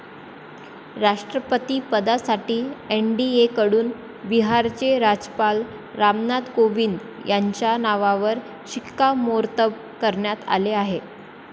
राष्ट्रपतिपदासाठी एनडीएकडून बिहारचे राज्यपाल रामनाथ कोविंद यांच्या नावावर शिक्कामोर्तब करण्यात आले आहे.